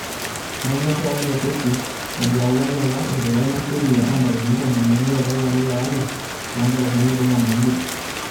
Etanya KRA ilo kesi ejo eyawuaki apa eidipa ina sheria o ntarikini tomon o imiet o lapa le ile lo lari loo nkalifuni are o tomon o imiet.